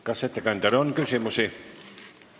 Kas ettekandjale on küsimusi?